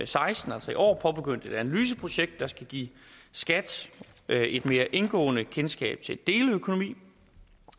seksten altså i år påbegyndt et analyseprojekt der skal give skat et et mere indgående kendskab til deleøkonomi